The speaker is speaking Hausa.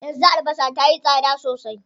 Yanzu albasa tayi tsada sosai.